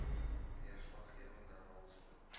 deurslaggewende rol speel